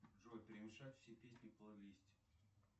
джой перемешать все песни в плейлисте